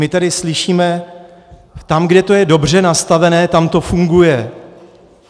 My tady slyšíme - tam, kde to je dobře nastavené, tam to funguje.